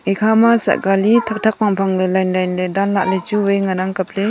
ekhama sah kali thakthak phangphang ley line line ley danlah lechu wai ngan ang kopley.